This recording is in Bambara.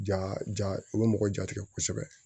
Ja ja u bɛ mɔgɔ jatigɛ kosɛbɛ